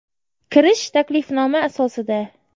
Kirish taklifnoma asosida.